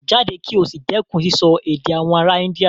Jáde kí o sì dẹ́kun sísọ èdè àwọn ará India.